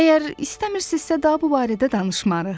Əgər istəmirsinizsə daha bu barədə danışmarıq.